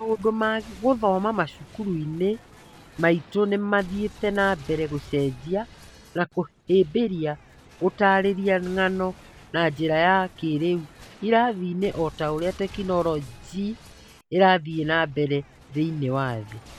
Maũndũ ma gũthoma macukuru-inĩ maitũ nĩmathiĩte na mbere gũcenjia na kũhĩmbĩria gũtarĩria ng'ano na njĩra ya kĩĩrĩu irathi-inĩ ota ũrĩa tekinoronjĩ ĩrathiĩ na mbere thĩiniĩ wa thĩ